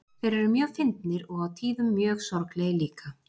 Þeir eru mjög fyndnir og á tíðum mjög sorglegir líka.